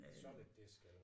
Solid disk eller